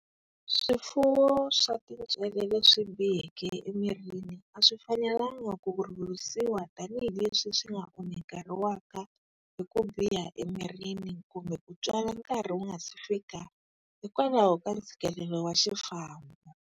Swifuwo swa tintswele leswi biheke emirini a swi fanelangi ku rhurhisiwa tanihi leswi swi nga onhakeriwaka hi ku biha emirini kumbe ku tswala nkarhi wu nga si fika hikwalaho ka ntshikilelo wa xifambo.